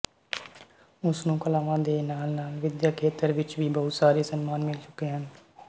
ਉਸ ਨੂੰ ਕਲਾਵਾਂ ਦੇ ਨਾਲਨਾਲ ਵਿਦਿਅਕ ਖੇਤਰ ਵਿੱਚ ਵੀ ਬਹੁਤ ਸਾਰੇ ਸਨਮਾਨ ਮਿਲ ਚੁੱਕੇ ਹਨ